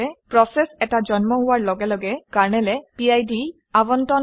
process এটা জন্ম হোৱাৰ লগে লগে কাৰনেলে পিড আৱণ্টন কৰে